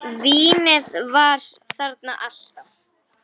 Vínið var þarna alltaf.